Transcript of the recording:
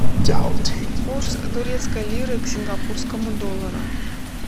курс турецкой лиры к сингапурскому доллару